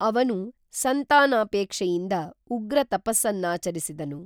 ಅವನು ಸಂತಾನಾಪೇಕ್ಷೆಯಿಂದ ಉಗ್ರ ತಪಸ್ಸನ್ನಾಚರಿಸಿದನು